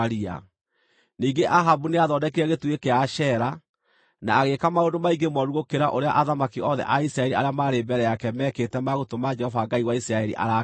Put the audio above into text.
Ningĩ Ahabu nĩathondekire gĩtugĩ kĩa Ashera, na agĩĩka maũndũ maingĩ mooru gũkĩra ũrĩa athamaki othe a Isiraeli arĩa maarĩ mbere yake meekĩte ma gũtũma Jehova Ngai wa Isiraeli arakare.